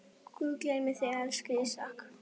Guð geymi þig, elsku Ísak.